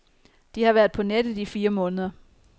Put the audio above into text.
De har været på nettet i fire måneder.